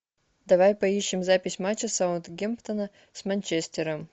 давай поищем запись матча саутгемптона с манчестером